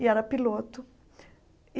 e era piloto.